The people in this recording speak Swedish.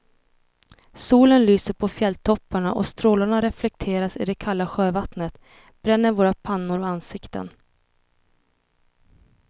Solen lyser på fjälltopparna och strålarna reflekteras i det kalla sjövattnet, bränner våra pannor och ansikten.